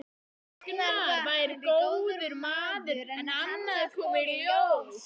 Agnar væri góður maður en annað kom í ljós.